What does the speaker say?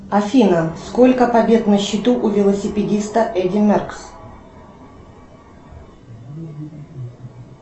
афина сколько побед на счету у велосипедиста эдди меркс